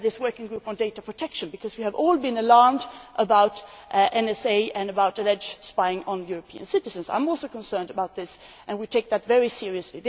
We have this working group on data protection, because we have all been alarmed about the NSA and about alleged spying on European citizens. I am also concerned about this, and we take it very seriously.